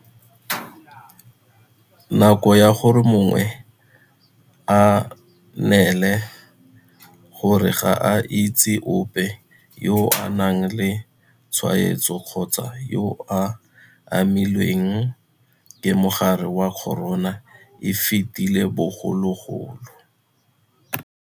Nako ya gore mongwe a nnele gore ga a itse ope yo o nang le tshwaetso kgotsa yo a amilweng ke mogare wa corona e fetile bogologolo.